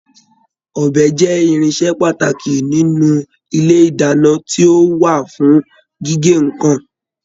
Ọbẹ jẹ irinṣẹ pàtàkì nínú ilé ìdáná, ti o wá fún gígé nnkan.